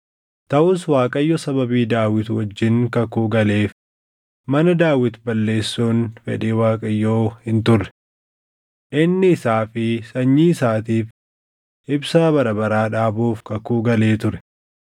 Taʼus Waaqayyo sababii Daawit wajjin kakuu galeef mana Daawit balleessuun fedhii Waaqayyoo hin turre. Inni isaa fi sanyii isaatiif ibsaa bara baraa dhaabuuf kakuu galee ture.